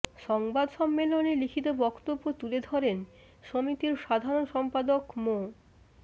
সংবাদ সম্মেলনে লিখিত বক্তব্য তুলে ধরেন সমিতির সাধারণ সম্পাদক মো